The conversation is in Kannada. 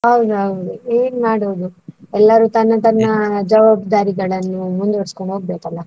ಹೌದೌದು ಏನ್ ಮಾಡುದು, ಎಲ್ಲರೂ ತನ್ನ ತನ್ನ ಜವಾಬ್ದಾರಿಗಳನ್ನು ಮುಂದುವರಿಸಿಕೊಂಡು ಹೋಗ್ಬೇಕಲ್ಲ?